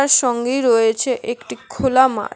সঙ্গেই রয়েছে একটি খোলা মাঠ।